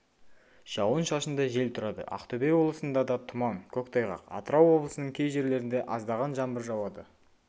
жауын-шашынды жел тұрады ақтөбе облысында да тұман көктайғақ атырау облысының кей жерлерінде аздаған жаңбыр жауады